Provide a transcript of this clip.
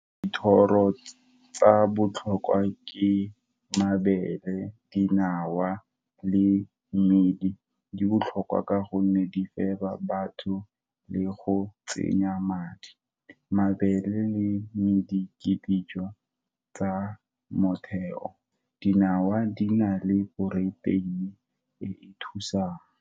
Dithoro tsa botlhokwa ke mabele, dinawa, le mmidi. Di botlhokwa ka gonne, di fela batho le go tsenya madi. Mabele le medi ke dijo tsa motheo, dinawa di na le protein-e, e e thusang.